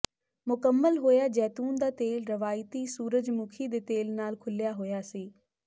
ਮੁਕੰਮਲ ਹੋਇਆ ਜੈਤੂਨ ਦਾ ਤੇਲ ਰਵਾਇਤੀ ਸੂਰਜਮੁਖੀ ਦੇ ਤੇਲ ਨਾਲ ਘੁਲਿਆ ਹੋਇਆ ਸੀ